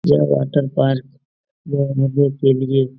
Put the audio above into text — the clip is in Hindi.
यह वाटर पार्क के लिए --